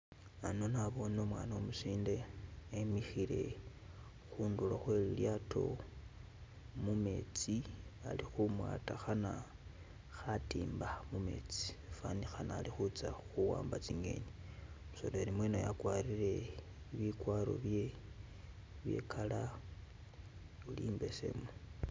Ano naboone umwana umusinde emikhile khundulo khwe lilyato mumetsi alikhumwata khana khatimba mumetsi, fanikhana ali khutsa khuwamba tsi'ngeni, umusoleli mwene uyu akwarire bi kwaro bye bye e'color oli imbesemu.